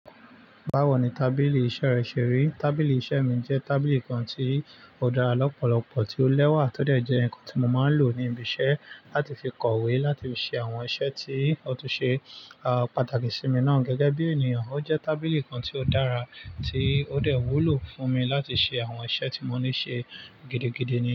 Báwo ni tábìlì iṣẹ́ rẹ ṣe rí? Tábìlì iṣẹ́ mi jẹ́ tábìlì kan tí ó dára lọ́pọ̀lọpọ̀, tí ó lẹ́wà, tó dẹ̀ jẹ́ ǹkan tí mo máa ń lò ní ibi iṣẹ́ láti fi kọ̀wé, láti fi ṣe àwọn iṣẹ́ tí ó túń ṣe, à, pàtàkì sí mi náà gẹ́gẹ́ bí ènìyàn. Ó jẹ́ tábìlì kan tí ó dára tí ó dẹ̀ wúlò fún mi láti ṣe àwọn iṣẹ́ tí mo ní ṣe gidigidi ni.